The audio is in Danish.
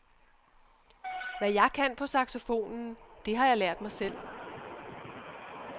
Hvad jeg kan på saxofonen, det har jeg lært mig selv.